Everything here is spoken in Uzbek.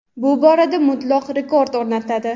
bu borada mutlaq rekord o‘rnatadi.